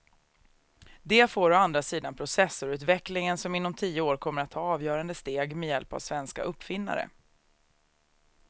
Det får å andra sidan processorutvecklingen som inom tio år kommer att ta avgörande steg med hjälp av svenska uppfinnare.